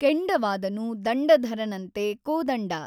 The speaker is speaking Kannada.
ಕೆಂಡವಾದನು ದಂಡಧರನಂತೆ ಕೋದಂಡ